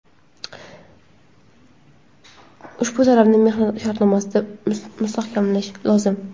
Ushbu talabni mehnat shartnomasida mustahkamlash lozim.